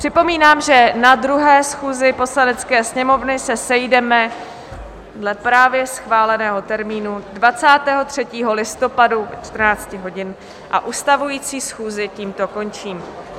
Připomínám, že na 2. schůzi Poslanecké sněmovny se sejdeme dle právě schváleného termínu 23. listopadu od 14 hodin a ustavující schůzi tímto končím.